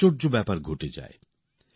আশ্চর্য ব্যাপার ঘটে যায়